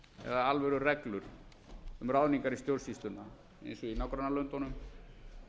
alvörulög eða alvörureglur um ráðningar í stjórnsýsluna eins og í nágrannalöndunum